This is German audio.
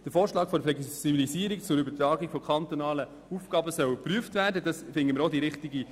Der Vorschlag, dass die Flexibilisierung zur Übertragung von kantonalen Aufgaben soll überprüft werden, damit man es besser anschaut.